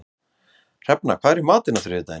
Hrefna, hvað er í matinn á þriðjudaginn?